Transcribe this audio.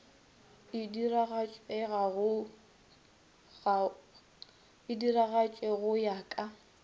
e diragatše go ya ka